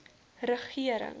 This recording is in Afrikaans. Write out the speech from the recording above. regering